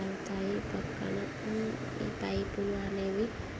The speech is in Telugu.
పైప్ లు అనేవి.